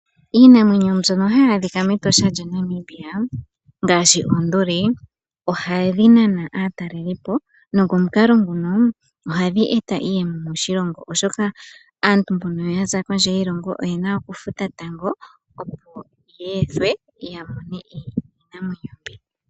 Iinamwenyo mbyono hayi adhika mEtosha lya Namibia ngaashi oonduli, ohadhi nana aatalelipo, nokomukalo nguno ohadhi eta iiyemo moshilongo, oshoka aantu mbono yaza kondje yiilongo oyena okufuta tango opo ya ethwe, ya mone iinamwenyo mbika.